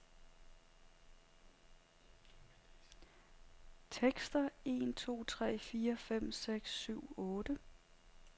Tester en to tre fire fem seks syv otte.